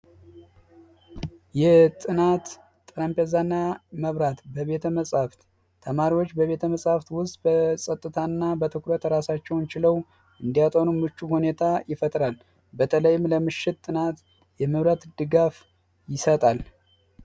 የጥናት ጠረጴዛ እና መብራት በቤተ መፅሐፍ ተመሪዎች በቤተመጻሕፍት ውስጥ በፀጥታ እና በትኩረት ራሳቸውን ችለው እንዲያጠኑ ምቹ ሁኔታን ይፈጥራል በተለይም ለምሽት ጥናት የመብራት ድጋፍ ይሰጣል።